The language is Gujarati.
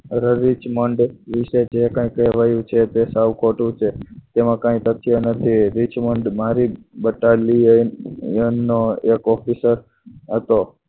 રેડી જ માંડે એ વિશે કંઈ કહેવાય છે તે સાવ ખોટું છે જેમાં કાંઈ સત્ય નથી રીચમાંડ મારી જ battalion નો એનો એક officer